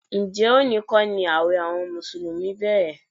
Ǹjẹ́ òní kọ́ ni ààwẹ̀ àwọn mùsùlùmí bẹ̀rẹ̀?